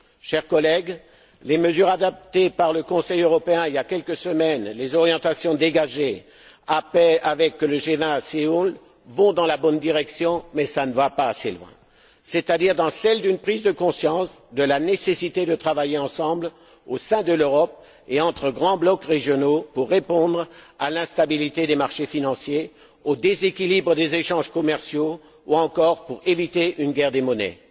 Chers collègues, les mesures adoptées par le Conseil européen il y a quelques semaines, les orientations dégagées au G20 à Séoul, vont dans la bonne direction, mais elles ne vont pas assez loin, c'est à dire une prise de conscience de la nécessité de travailler ensemble au sein de l'Europe et entre grands blocs régionaux pour répondre à l'instabilité des marchés financiers, au déséquilibre des échanges commerciaux ou encore pour éviter une guerre des monnaies.